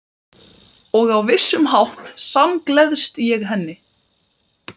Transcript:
Og á vissan hátt samgleðst ég henni.